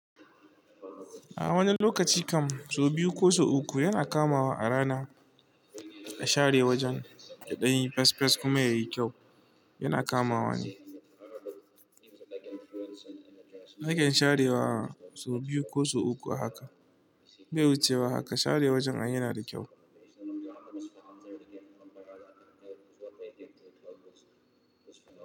A wani lokaci kam so biyu ko so uku yana kamawa a rana share wajen daɗaɗɗen fes fes kuma yayi kyau yana kamawa ne. Nake sharewa so biyu ko so uku a haka bai wucewa haka share wajen ai yana da kyau.